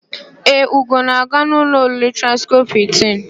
Ee, Ugo na-aga n'ụlọ oriri Transcọp Hịltịn.